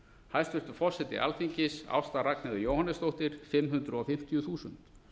hæstvirtur forseti alþingis ásta ragnheiður jóhannesdóttir fimm hundruð fimmtíu þúsund